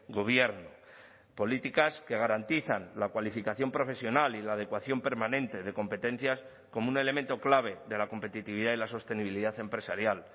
gobierno políticas que garantizan la cualificación profesional y la adecuación permanente de competencias como un elemento clave de la competitividad y la sostenibilidad empresarial